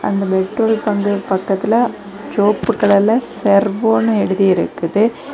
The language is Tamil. அந்த பெட்ரோல் பங்க் பக்கத்துல சிவோப்பு கலர்ல செர்வோனு எழுதிருக்குது.